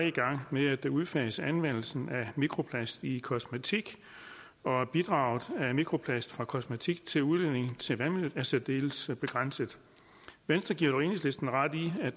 i gang med at udfase anvendelsen af mikroplast i kosmetik og bidraget af mikroplast fra kosmetik til udledning i vandløb er særdeles begrænset venstre giver dog enhedslisten ret i at